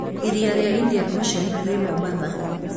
Iria rĩa Indian Ocean rĩ Mombasa.